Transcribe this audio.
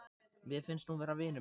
Mér finnst hún vera vinur minn.